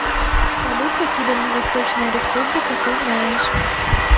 салют какие дальневосточная республика ты знаешь